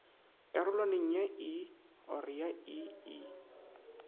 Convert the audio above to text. karolwaneng ya i or ii